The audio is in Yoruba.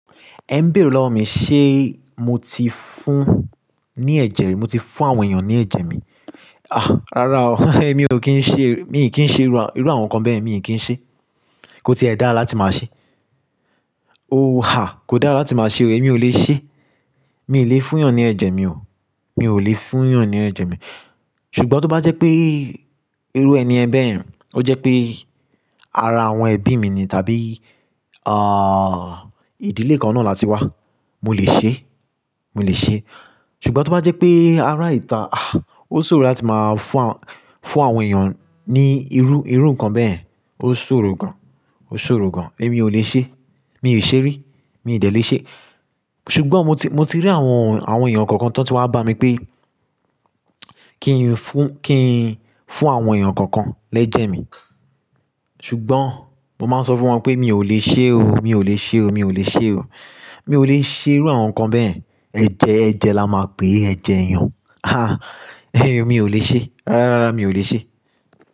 Ẹ ń béèrè lọ́wọ́ mi ṣe mo ti fún ní ẹ̀jẹ̀ mi, mo ti fún àwọn èyàn ní ẹ̀jẹ̀ mi. Àh! Rárá o, èmi ò kí ń ṣe, mi ò kì í ṣe irú, irú àwọn nǹkan bẹ́yẹ̀n mi ò kí ń ṣe. Ko tíì dáa láti máa ṣe. Oh! Ha! Kò dáa láti máa ṣe o, èmi ò lè ṣe. Mi ò lè fún èèyàn ní ẹ̀jẹ̀ mi o. Mi ò lè fún èèyàn ní ẹ̀jẹ̀ mi. Ṣùgbọ́n tó bá jẹ́ pé irú ẹni ẹ̀ bẹ́ẹ̀, ó jẹ́ pé ara àwọn ẹbí mi ni tàbí, àh, ìdílé kan náà láti wá, mo lè ṣe. Mo lè ṣe. Ṣùgbọ́n tó bá jẹ́ pé ara ìta, àh, ó ṣòro láti máa fún àwọn, fún àwọn èyàn ní irú, irú nǹkan bẹ́yẹ̀n. Ó ṣòro gan. Ó ṣòro gan. Èmi ò lè ṣe. Mi ò ṣe rí. Mi ò dẹ lè ṣe. Ṣùgbọ́n mo ti, mo ti rí àwọn, àwọn èyàn kankan tán tí wá bá mi pé kí n fún, kí n fún àwọn èyàn kankan lẹ́jẹ̀ mi. Ṣùgbọ́n mo máa ń sọ fún wọn pé mi ò lè ṣe o. Mi ò lè ṣe o. Mi ò lè ṣe o. Mi ò lè ṣe irú àwọn nǹkan bẹ́ẹ̀. Ẹ̀jẹ̀, ẹ̀jẹ̀ la máa pè ẹ́ jẹ èèyàn. Ha! Mi ò lè ṣe. Rárá, mi ò lè ṣe.